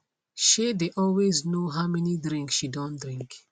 shey dey always know how many drink she don drink